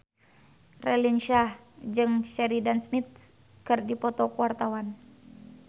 Raline Shah jeung Sheridan Smith keur dipoto ku wartawan